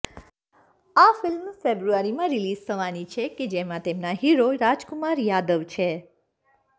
આ ફિલ્મ ફેબ્રુઆરીમાં રિલીઝ થવાની છે કે જેમાં તેમના હીરો રાજકુમાર યાદવ છે